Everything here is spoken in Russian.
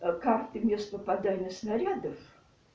как ты мне что подаришь нарядов